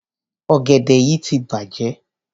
Ọ̀gẹ̀dẹ̀ yí ti bàjẹ́.